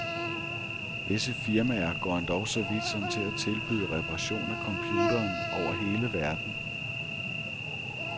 Visse firmaer går endog så vidt som til at tilbyde reparation af computeren over hele verden.